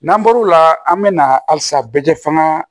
N'an bɔr'o la an bɛ na halisa bɛɛ kɛ fanga